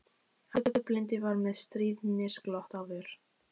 Afi blindi var með stríðnisglott á vör.